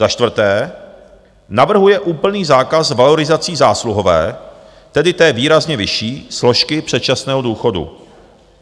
Za čtvrté navrhuje úplný zákaz valorizací zásluhové, tedy té výrazně vyšší složky předčasného důchodu.